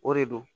O de don